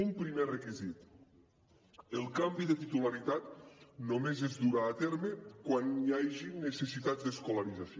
un primer requisit el canvi de titularitat només es durà a terme quan hi hagin necessitats d’escolarització